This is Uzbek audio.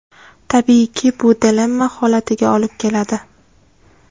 Tabiiyki, bu dilemma holatiga olib keladi.